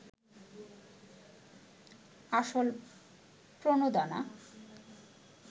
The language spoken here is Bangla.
আসল প্রণোদনা